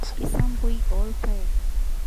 isampui oorpaek